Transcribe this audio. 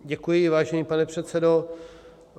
Děkuji, vážený pane předsedo.